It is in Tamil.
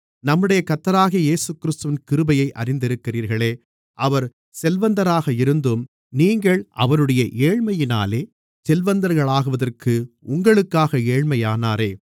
நம்முடைய கர்த்தராகிய இயேசுகிறிஸ்துவின் கிருபையை அறிந்திருக்கிறீர்களே அவர் செல்வந்தராக இருந்தும் நீங்கள் அவருடைய ஏழ்மையினாலே செல்வந்தர்களாவதற்கு உங்களுக்காக ஏழையானாரே